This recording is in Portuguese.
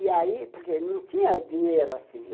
E aí, porque não tinha dinheiro assim.